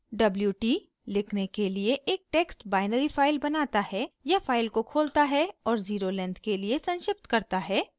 wt = लिखने के लिए एक टेक्स्ट बाइनरी फाइल बनाता है या फाइल को खोलता है और ज़ीरो लेंथ के लिए संक्षिप्त करता है